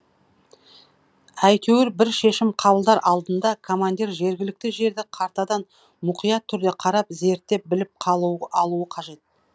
әйтеуір бір шешім қабылдар алдында командир жергілікті жерді картадан мұқият түрде қарап зерттеп біліп алуы қажет